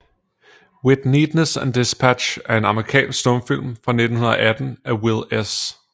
With Neatness and Dispatch er en amerikansk stumfilm fra 1918 af Will S